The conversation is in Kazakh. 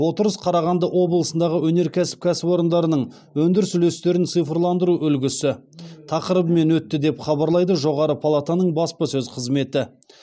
отырыс қарағанды облысындағы өнеркәсіп кәсіпорындарының өндіріс үлестерін цифрландыру үлгісі тақырыбымен өтті деп хабарлайды жоғары палатаның баспасөз қызметі